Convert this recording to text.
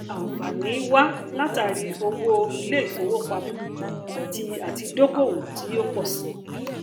ànfààní wá látàrí owó iléìfowópamọ àti àti dókòwò tí ó pọ síi